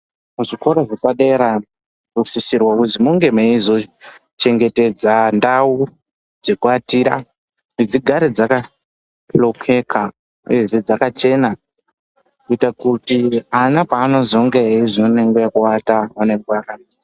Kuzvikoro zvepadera zvinosisirwa kuti munge meizochengetedza ndau dzekuatira kuti dzigare dzakahlokeka uyezve dzakachena kuite kuti ana paanozonge eizoona nguwa yekuata ......